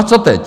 A co teď?